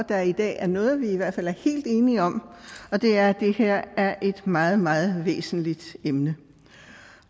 at der i dag er noget som vi i hvert fald er helt enige om og det er at det her er et meget meget væsentligt emne